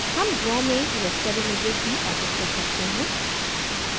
हम draw में raster images भी edit कर सकते हैं